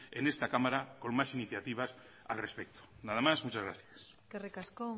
en esta cámara con más iniciativas al respecto nada más muchas gracias eskerrik asko